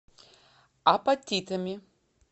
апатитами